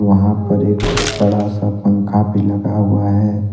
वहां पे एक बड़ा सा पंखा भी लगा हुआ हैं।